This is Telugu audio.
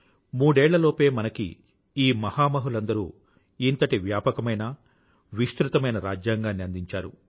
మూడేళ్ల లోపే మనకి ఈ మహామహులందరూ మనకు ఇంతటి వ్యాపకమైనవిస్తృతమైన రాజ్యాంగాన్ని అందించారు